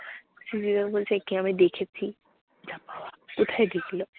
রিয়া বলছে, একে আমি দেখেছি। যাক বাবা, কোথায় দেখল?